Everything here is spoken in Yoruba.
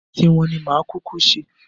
Ti wọn ni màá kúkú ṣe